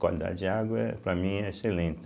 Qualidade de água é para mim é excelente.